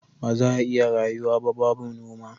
Baza a iya rayuwa ba babu noma